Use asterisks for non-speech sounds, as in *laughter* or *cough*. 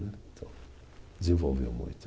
*unintelligible* Desenvolveu muito.